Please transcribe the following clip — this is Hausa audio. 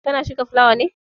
Ka na shuka fulawa ne?